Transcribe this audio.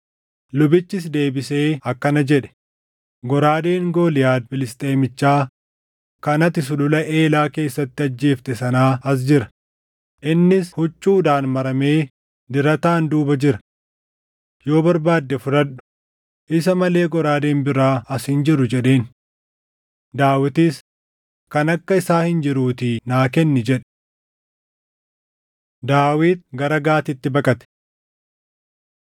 Lubichis deebisee akkana jedhe; “Goraadeen Gooliyaad Filisxeemichaa kan ati Sulula Eelaa keessatti ajjeefte sanaa as jira; innis huccuudhaan maramee dirataan duuba jira. Yoo barbaadde fudhadhu; isa malee goraadeen biraa as hin jiru” jedheen. Daawitis, “Kan akka isaa hin jiruutii naa kenni” jedhe. Daawit Gara Gaatitti Baqate